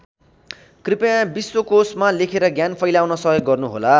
कृपया विश्वकोशमा लेखेर ज्ञान फैलाउन सहयोग गर्नुहोला।